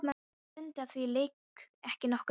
Þetta var Dundi, á því lék ekki nokkur vafi.